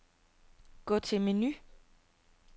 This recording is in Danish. Gå til menu.